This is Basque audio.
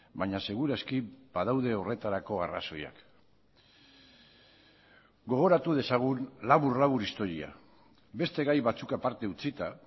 baina segur aski badaude horretarako arrazoiak gogoratu dezagun labur labur historia beste gai batzuk aparte utzita